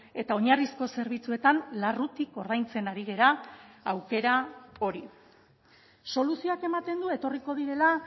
eta oinarrizko zerbitzuetan larrutik ordaintzen ari gara aukera hori soluzioak ematen du etorriko direla